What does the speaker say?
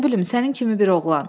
Nə bilim, sənin kimi bir oğlan.